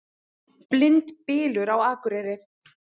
Blindbylur á Akureyri